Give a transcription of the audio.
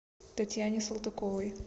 татьяне салтыковой